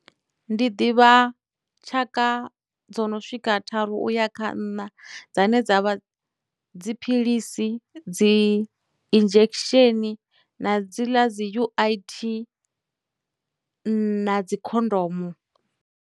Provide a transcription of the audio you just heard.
Ndi ḓivha tshaka dzo no swika tharu uya kha nṋa dzane dza vha, dziphilisi, dzi injection, na dzi ḽa dzi U_I_T, na dzi khondomo.